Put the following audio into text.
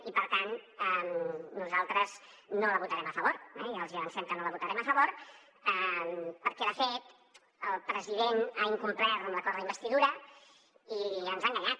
i per tant nosaltres no la votarem a favor ja els hi avancem que no la votarem a favor perquè de fet el president ha incomplert l’acord d’investidura i ens ha enganyat